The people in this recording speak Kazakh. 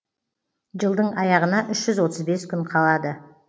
жылдың аяғына үш жүз отыз бес күн қалады